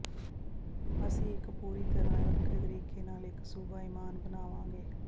ਅਸੀਂ ਇੱਕ ਪੂਰੀ ਤਰ੍ਹਾਂ ਵੱਖਰੇ ਤਰੀਕੇ ਨਾਲ ਇੱਕ ਸੁਭਾਇਮਾਨ ਬਣਾਵਾਂਗੇ